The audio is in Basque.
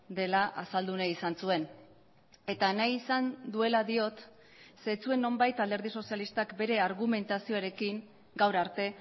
dela azaldu nahi izan zuen eta nahi izan duela diot ze ez zuen nonbait alderdi sozialistak bere argumentazioarekin gaur arte